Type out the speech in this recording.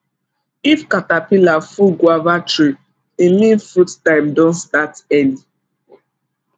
if caterpillar full guava tree e mean fruit time don start early